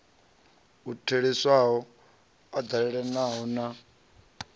u theliswaho u eḓanaho na